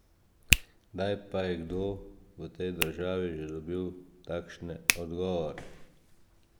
Kdaj pa je kdo v tej državi že dobil takšne odgovore?